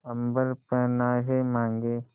अम्बर पनाहे मांगे